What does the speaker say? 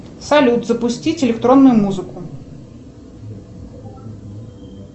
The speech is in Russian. салют запустить электронную музыку